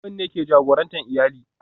Uban ne ke jagorantar iyali